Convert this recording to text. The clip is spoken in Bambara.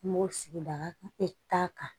N b'o sigida bɛɛ ta kan